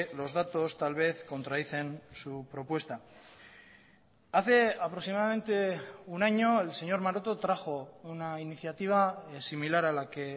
los datos tal vez contradicen su propuesta hace aproximadamente un año el señor maroto trajo una iniciativa similar a la que